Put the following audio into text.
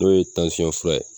N'o ye fura ye